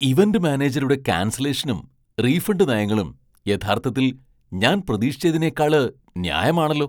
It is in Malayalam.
ഇവന്റ് മാനേജരുടെ ക്യാൻസലേഷനും റീഫണ്ട് നയങ്ങളും യഥാർത്ഥത്തിൽ ഞാൻ പ്രതീക്ഷിച്ചതിനേക്കാള് ന്യായമാണല്ലോ!